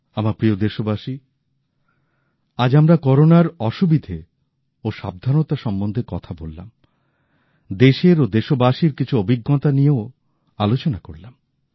আমার প্রিয় দেশবাসী আজ আমরা করোনার অসুবিধে ও সাবধানতা সম্বন্ধে কথা বললাম দেশের ও দেশবাসীর কিছু অভিজ্ঞতা নিয়েও আলোচনা করলাম